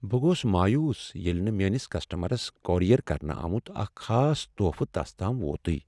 بہٕ گوس مایوس ییٚلہ نہٕ میٲنس کسٹمرس کوریر کرنہٕ آمت اکھ خاص تحفہٕ تس تام ووتٕے۔